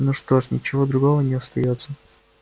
ну что ж ничего другого не остаётся